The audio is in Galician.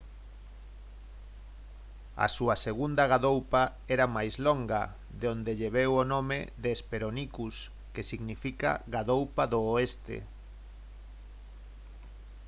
a súa segunda gadoupa era máis longa de onde lle veu o nome de hesperonychus que significa «gadoupa do oeste»